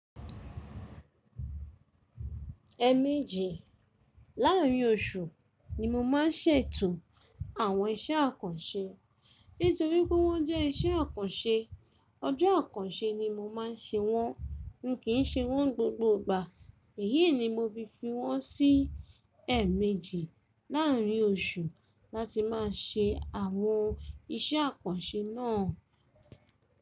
Ẹ̀ẹ̀ méjì láàárín oṣù ni mo máa ń ṣètò àwọn iṣẹ́ àkànṣe. Nítorí pé wọ́n jẹ́ iṣẹ́ àkànṣe, ọjọ́ àkànṣe ni mo máa ń ṣe wọ́n. N ki ṣe wọ́n gbogbo ìgbà. Èyí ni mo fi fi wọ́n sí ẹ̀ẹ̀ méjì láàárín oṣù láti máa ṣe àwọn iṣẹ́ àkànṣe náà.